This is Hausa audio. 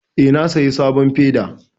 Eh, na saya sabon feda